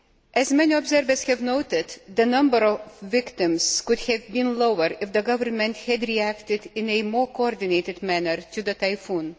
As many observers have noted, the number of victims could have been lower if the Government had reacted in a more coordinated manner to the typhoon.